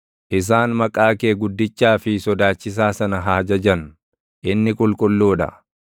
Isaan maqaa kee guddichaa fi sodaachisaa sana haa jajan; inni qulqulluu dha.